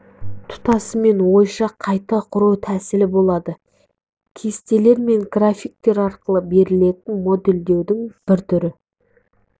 тұтасымен ойша қайта құру тәсілі болады кестелер мен графиктер арқылы берілетін модельдеудің бір түрі